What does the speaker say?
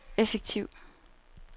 effektiv